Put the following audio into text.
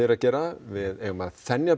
að gera við eigum að þenja